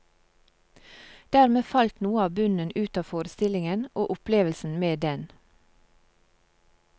Dermed falt noe av bunnen ut av forestillingen, og opplevelsen med den.